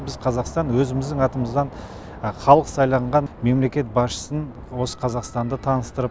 біз қазақстан өзіміздің атымыздан халық сайланған мемлекет басшысын осы қазақстанды таныстырып